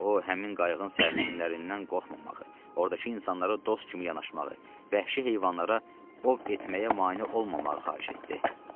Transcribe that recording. O, həmin qayığın sərnişinlərindən qorxmamağı, ordakı insanlara dost kimi yanaşmağı, vəhşi heyvanlara ov etməyə mane olmamağı xahiş etdi.